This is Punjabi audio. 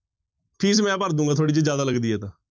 ਫੀਸ ਮੈਂ ਭਰ ਦਊਂਗਾ ਤੁਹਾਡੀ, ਜੇ ਜ਼ਿਆਦਾ ਲੱਗਦੀ ਹੈ ਤਾਂ।